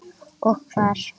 Og hvar.